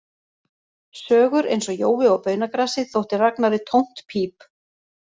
Sögur eins og Jói og baunagrasið þótti Ragnari tómt píp